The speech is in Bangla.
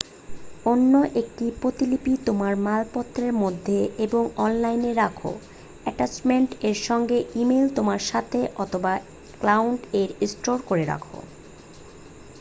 "অন্য একটা প্রতিলিপি তোমার মালপত্রের মধ্যে এবং অনলাইন রাখো অ্যাটাচমেন্ট এর সঙ্গে ইমেইল তোমার সাথে, অথবা "ক্লাউড" এ স্টোর করে রাখো ।